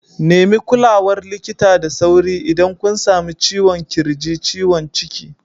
Nemi kulawar likita da sauri idan kun sami ciwon ƙirji, ciwon ciki.